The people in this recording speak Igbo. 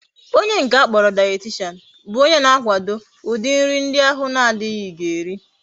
Onye nke akporo dietitian bu onye na akwado udi nri ndi ahu na adighi ga eri